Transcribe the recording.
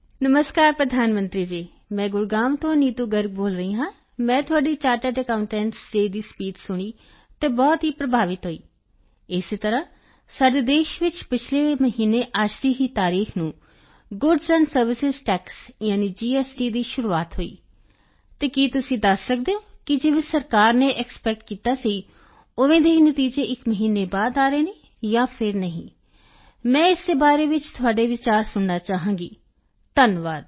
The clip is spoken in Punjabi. ਨਮਸਕਾਰ ਪ੍ਰਧਾਨ ਮੰਤਰੀ ਜੀ ਮੈਂ ਗੁੜਗਾਂਵ ਤੋਂ ਨੀਤੂ ਗਰਗ ਬੋਲ ਰਹੀ ਹਾਂ ਮੈਂ ਤੁਹਾਡੀ ਚਾਰਟਰਡ ਅਕਾਉਂਟੈਂਟਸ ਡੇਅ ਦੀ ਸਪੀਚ ਸੁਣੀ ਅਤੇ ਬਹੁਤ ਪ੍ਰਭਾਵਤਿ ਹੋਈ ਇਸੇ ਤਰ੍ਹਾਂ ਸਾਡੇ ਦੇਸ਼ ਵਿੱਚ ਪਿਛਲੇ ਮਹੀਨੇ ਅੱਜ ਦੀ ਹੀ ਤਾਰੀਖ਼ ਨੂੰ ਫੂਡਜ਼ ਐਂਡ ਸਰਵਿਸਾਂ ਟੈਕਸ ਜੀਐਸਟੀ ਦੀ ਸ਼ੁਰੂਆਤ ਹੋਈ ਕੀ ਤੁਸੀਂ ਦੱਸ ਸਕਦੇ ਹੋ ਕਿ ਜਿਵੇਂ ਸਰਕਾਰ ਨੇ ਐਕਸਪੈਕਟ ਕੀਤਾ ਸੀ ਉਵੇਂ ਦੇ ਹੀ ਨਤੀਜੇ ਇੱਕ ਮਹੀਨੇ ਬਾਅਦ ਆ ਰਹੇ ਹਨ ਜਾਂ ਨਹੀਂ ਮੈਂ ਇਸ ਦੇ ਬਾਰੇ ਵਿੱਚ ਤੁਹਾਡੇ ਵਿਚਾਰ ਸੁਣਨਾ ਚਾਹਾਂਗੀ ਧੰਨਵਾਦ